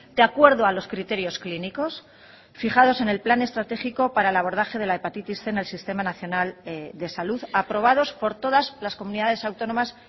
de acuerdo a los criterios clínicos fijados en el plan estratégico para el abordaje de la hepatitis cien en el sistema nacional de salud aprobados por todas las comunidades autónomas